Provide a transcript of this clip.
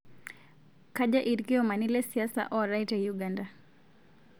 Kaja lkiomani le siasa ootae te Uganda